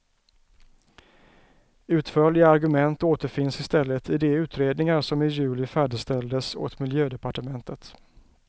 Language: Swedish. Utförliga argument återfinns istället i de utredningar som i juli färdigställdes åt miljödepartementet.